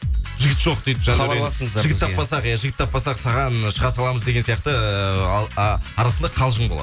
жігіт жоқ деп хабарласыңыздар жігіт таппасақ иә жігіт таппасақ саған шыға саламыз деген сияқты э ал а арасында қалжың болады